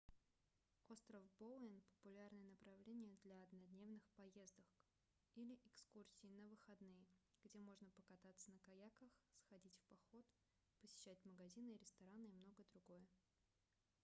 остров боуэн популярное направление для однодневных поездок или экскурсий на выходные где можно кататься на каяках ходить в походы посещать магазины и рестораны и многое другое